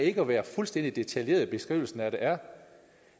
ikke at være fuldstændig detaljerede i beskrivelsen af det er